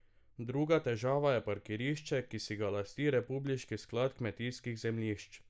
Druga težava je parkirišče, ki si ga lasti republiški sklad kmetijskih zemljišč.